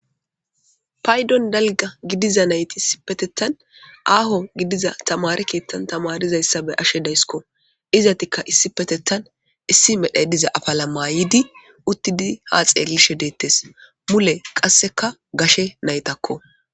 paydon dalga gidiza nayti issi petettan aaho gidiza tamare keettan tamarizayssa be ashe daysko izatikka issi petettan issi medhaydiza afala maayidi uttidi ha xeelishe deettes mule qasseka gashe naytakko